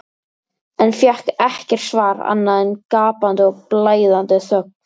en fékk ekkert svar annað en gapandi og blæðandi þögn.